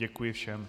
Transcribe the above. Děkuji všem.